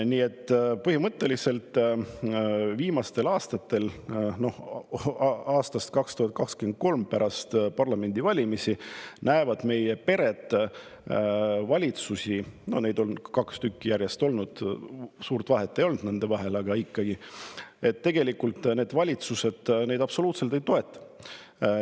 Nii et põhimõtteliselt viimastel aastatel, aastast 2023, pärast parlamendivalimisi näevad meie pered selliseid valitsusi – no neid on kaks tükki järjest olnud, suurt vahet nende vahel ei ole, aga ikkagi –, kes neid tegelikult absoluutselt ei toeta.